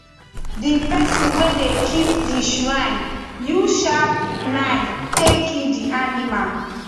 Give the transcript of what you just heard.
the person wey dey keep the shrine use sharp knife take kill the animal